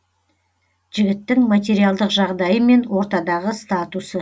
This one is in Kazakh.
жігіттің материалдық жағдайы мен ортадағы статусы